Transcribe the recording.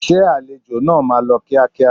Ṣé àlejò náà máa lọ kíákíá?